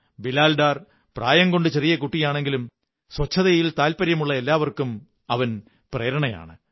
ബിലാൽ ഡാർ പ്രായംകൊണ്ട് ചെറിയ കുട്ടിയാണെങ്കിലും ശുചിത്വതത്ിൽ താത്പര്യമുള്ള എല്ലാവര്ക്കുംേ അവൻ പ്രേരണയാണ്